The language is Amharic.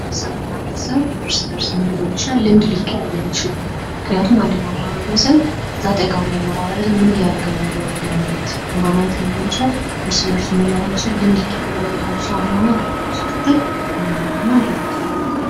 ማህበረሰብ እና ቤተሰብ እስ በርስ ልምድ ሊቀያየር ዪችላል። ምክንያቱም አንደኛው ማህበረሰብ አጠገቡ ያለው ማህበረሰብ ምን እያረገ ነው የሚለውን ነገር ማየት በማየት ሊሆን ይችላል የሚለውን እርስ በእርሱ ምን ሊያረግ ይችላል ልምድ ይቀያየራል።